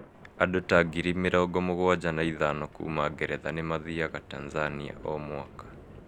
Andũ ta 75,000 kuuma Ngeretha nĩ mathiaga Tanzania o mwaka.